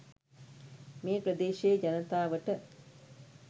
මේ ප්‍රදේශයේ ජනතාවට